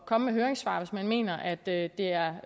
komme med høringssvar hvis man mener at det er